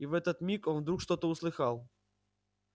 и в этот миг он вдруг что-то услыхал